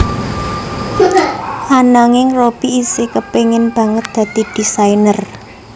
Ananging Robby isih kepengin banget dadi désainer